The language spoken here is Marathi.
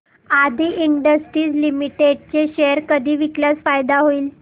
आदी इंडस्ट्रीज लिमिटेड चे शेअर कधी विकल्यास फायदा होईल